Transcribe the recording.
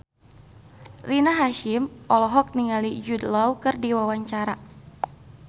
Rina Hasyim olohok ningali Jude Law keur diwawancara